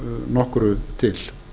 nokkru til